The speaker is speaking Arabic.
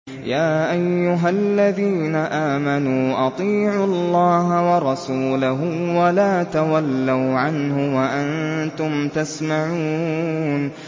يَا أَيُّهَا الَّذِينَ آمَنُوا أَطِيعُوا اللَّهَ وَرَسُولَهُ وَلَا تَوَلَّوْا عَنْهُ وَأَنتُمْ تَسْمَعُونَ